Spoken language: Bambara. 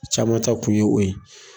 Caman ta kun ye o ye.